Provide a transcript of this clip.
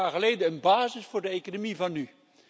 Twintig jaar geleden een basis voor de economie van nu.